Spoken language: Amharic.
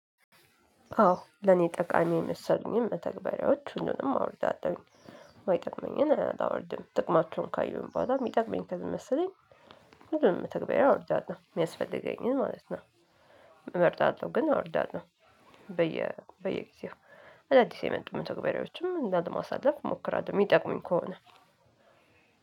አዎ ለኔ ጠቃሚ የመሰሉኝን መተግባሪያዎች ሁሉንም አውርዳለሁኝ የማይጠቅመኝን አላወርድም ጥቅማቸውን ካየሁኝ በኋላ ሚጠቅመኝ ከመሰለኝ ሁሉንም መተግበሪያ አወርዳለሁ የሚያስፈልገኝን ማለት ነው። እመርጣለሁ ግን አወርዳለሁ በየ በየጊዜው አዳዲስ የመጡ መተግበሪያዎችም ላለ ማሳለፍ እሞክራለሁ የሚጠቅሙኝ ከሆነ።